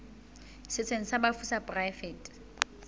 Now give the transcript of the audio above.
setsheng sa bafu sa poraefete